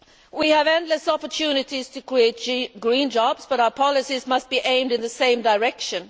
We have endless opportunities to create green jobs, but our policies must be aimed in the same direction.